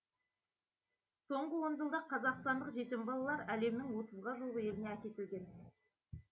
соңғы он жылда қазақстандық жетім балалар әлемнің отызға жуық еліне әкетілген